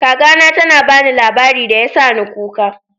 Kaka na ta ba ni labari da ya sa ni kuka.